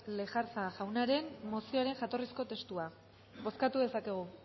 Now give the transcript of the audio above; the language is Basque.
lejarza jaunaren mozioaren jatorrizko testua bozkatu dezakegu